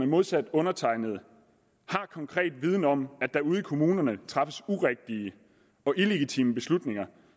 modsat undertegnede har konkret viden om at der ude i kommunerne træffes urigtige og illegitime beslutninger